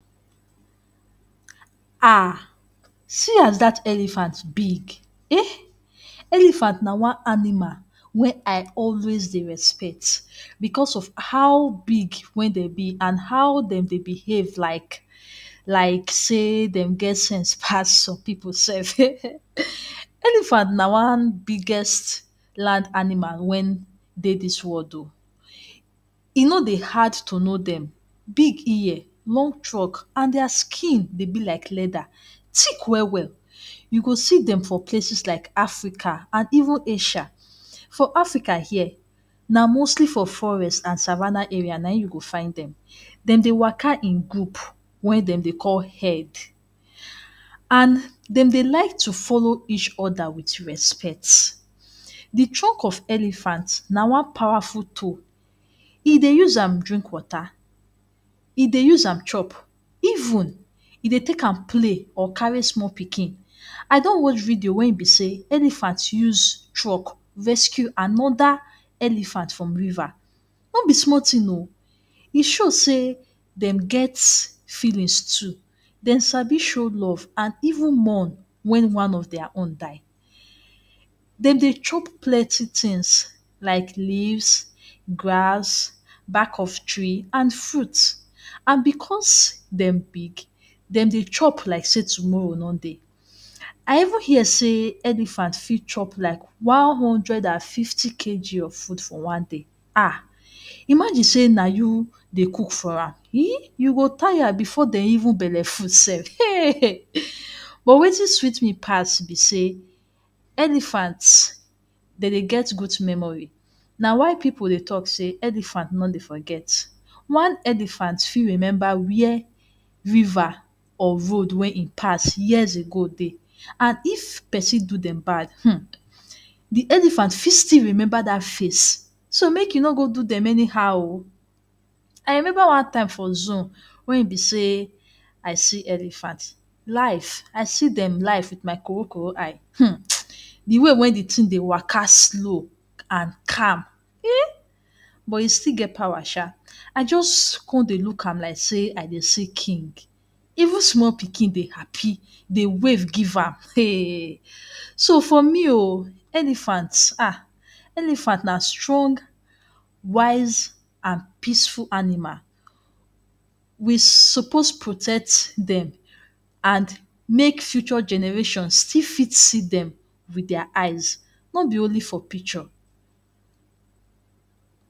Ah! See as dat elephant big. Eh! Elephant na one animal wey I always dey respect. Because of how big wey dem be and how dem dey behave like say dem get sense pass some people sef. Elephant na the biggest land animal wey dey this world oh! E no dey hard to know dem: big ear, long trunk, and their skin dey be like leather, thick well well. You go see dem for places like Africa and even Asia. For Africa here, na mostly for forest and savanna area you go find dem. Dem dey waka in group wey dem dey call herd, and dem dey like follow each other with respect. The trunk of elephant na one powerful tool. E dey use am drink water. E dey use am chop. E even dey take am play or carry small pikin. I don watch video wey e be say elephant use trunk rescue another elephant from river. No be small thing oh! E show say dem get feelings too. Dem sabi show love and even mourn when one of their own die. Dem dey chop plenty things like leaves, grass, back of tree and fruits. And because dem big, dem dey chop like say tomorrow no dey. I even hear say elephant fit chop like 150 kg of food for one day. Ah! Imagine say na you dey cook for am, eh! You go tire before dem belle go full sef. But wetin sweet me pass be say, elephant dey get good memory. Na why people dey talk say “Elephant no dey forget.” One elephant fit remember where river or road wey e pass years ago dey. And if pesin do dem bad, um! the elephant still remember dat face. So make you no go do dem anyhow oh! I remember one time for zoo wey I see elephant live. I see dem with my koro koro eye um! The way wey the thing dey waka slow and calm eh! But e still get power sha. I just dey look am like say I dey see king. Even small pikin dey happy wave give am. Eh! So for me oh, elephant, ah! elephant na strong, wise, and peaceful animal. We suppose protect dem so that future generations still fit see dem with their eyes, no be only for picture.